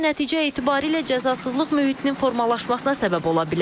Bu isə nəticə etibarilə cəzasızlıq mühitinin formalaşmasına səbəb ola bilər.